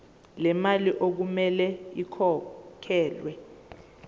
lemali okumele ikhokhelwe